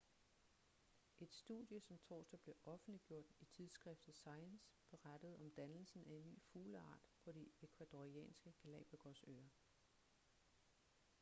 et studie som torsdag blev offentliggjort i tidsskriftet science berettede om dannelsen af en ny fugleart på de ecuadorianske galápagosøer